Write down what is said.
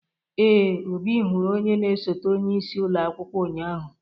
Ee, Obi hụrụ onye na esote onye isi ụlọ akwụkwọ ụnyahụ.